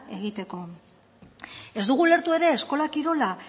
egiteko ez dugu ulertu ere eskola kirola